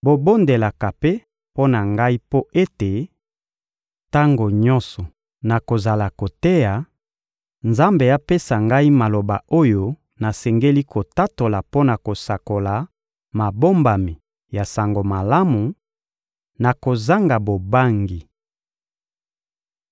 Bobondelaka mpe mpo na ngai mpo ete, tango nyonso nakozala koteya, Nzambe apesa ngai maloba oyo nasengeli kotatola mpo na kosakola mabombami ya Sango Malamu, na kozanga bobangi.